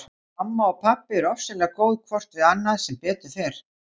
Mamma og pabbi eru ofsalega góð hvort við annað sem betur fer.